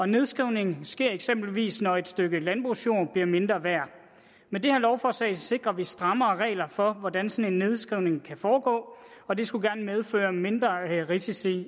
nedskrivning sker eksempelvis når et stykke landbrugsjord bliver mindre værd med det her lovforslag sikrer vi strammere regler for hvordan sådan en nedskrivning kan foregå og det skulle gerne medføre mindre risici